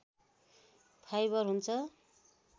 fibre हुन्छ